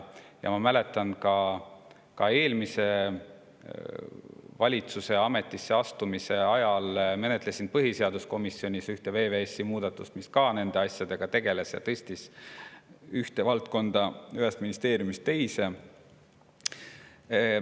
Ma mäletan, et ka eelmise valitsuse ametisse astumisega me menetlesime põhiseaduskomisjonis ühte VVS-i muudatust, mis ka nende asjadega tegeles, tõstes ühe valdkonna ühest ministeeriumist teise.